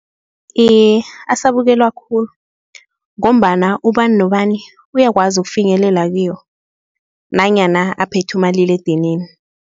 Iye, asabukelwa khulu ngombana ubani nobani uyakwazi ukufinyelela kiwo nanyana aphethe umaliledinini.